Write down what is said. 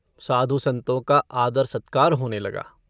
साधु-सन्तों का आदर-सत्कार होने लगा।